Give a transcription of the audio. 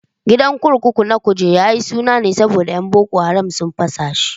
Gidan kurkuku na Kuje yayi suna ne saboda yan boko haram sun fasa shi